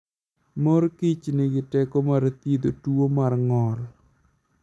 Mor Kich nigi teko mar thiedho tuwo mar ng'ol.